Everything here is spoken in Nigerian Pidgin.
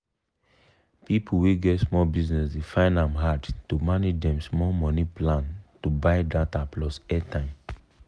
people wey get small business dey find ahm hard to manage dem small money plan to buy data plus airtime.